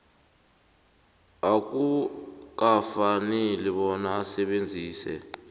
akukafaneli bona asebenzise